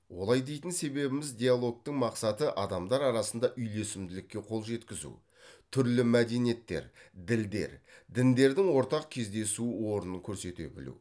олай дейтін себебіміз диалогтың мақсаты адамдар арасында үйлесімділікке қол жеткізу түрлі мәдениеттер ділдер діндердің ортақ кездесу орнын көрсете білу